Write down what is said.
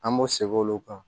An b'o segin olu kan